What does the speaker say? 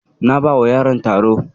Na bawa yaron taro.